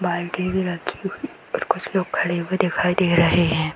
बाल्टी भी रखी हुई और कुछ लोग खड़े हुए दिखाई दे रहें हैं।